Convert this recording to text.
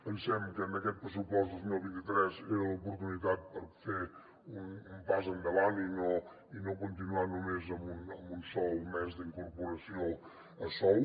pensem que aquest pressupost dos mil vint tres era l’oportunitat per fer un pas endavant i no continuar només amb un sol mes d’incorporació a sou